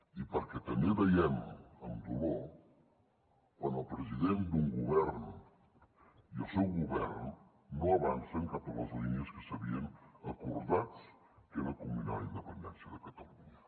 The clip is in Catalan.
i perquè també veiem amb dolor quan el president d’un govern i el seu govern no avancen cap a les línies que s’havien acordat que era culminar la independència de catalunya